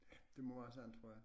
Ja det må være sådan tror jeg